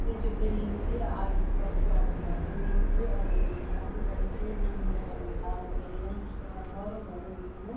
ये जू बिल्डिंग च आयुक्त कर उत्तराखण्ड क बिल्डिंग च और या बिल्डिंग काफी बड़ी च बिल्डिंग क बगल म डाल भि लग्यु जन जिसका हरु-भरू हुई छन।